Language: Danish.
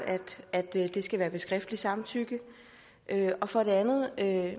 at det skal være med skriftligt samtykke for det andet er